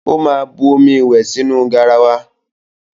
Ó máa bu omi ìwẹ̀ sínú garawa.